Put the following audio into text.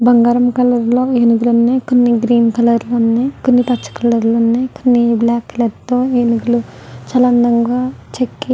బంగారం కలర్ లో ఏనుగులు ఉన్నాయ్. కొన్ని గ్రీన్ కలర్ లో ఉన్నాయ్. పౌస్వ్ పచ్చల కలర్ లో ఉన్నాయ్. కొన్ని బ్లాక్ కలర్ తో ఏనుగులు చాలా అందంగా చెక్కి--